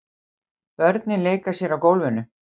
Börnin leika sér á gólfinu.